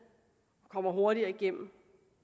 og kommer hurtigere igennem